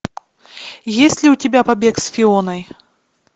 есть ли у тебя побег с фионой